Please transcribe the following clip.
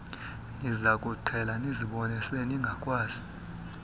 nizakukuqhela nizibone seningakwazi